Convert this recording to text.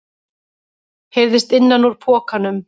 heyrðist innan úr pokanum.